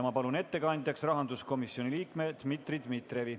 Ma palun ettekandjaks rahanduskomisjoni liikme Dmitri Dmitrijevi.